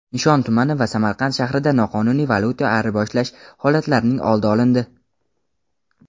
Nishon tumani va Samarqand shahrida noqonuniy valyuta ayirboshlash holatlarining oldi olindi.